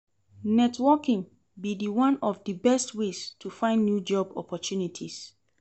Networking be di one of di best ways to find new job opportunities.